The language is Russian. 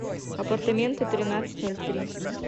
апартаменты тринадцать ноль три